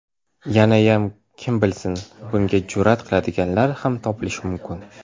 Yanayam kim bilsin, bunga jur’at qiladiganlar ham topilishi mumkin.